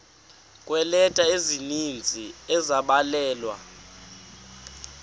kweeleta ezininzi ezabhalelwa